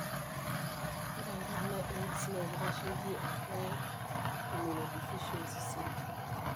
Ore enkarna AIDS na kitasheki acquire immunodeficiency syndrome.